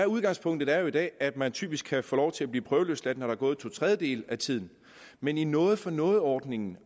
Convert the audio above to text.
udgangspunktet er jo i dag at man typisk kan få lov til at blive prøveløsladt når der er gået to tredjedele af tiden men i noget for noget ordningen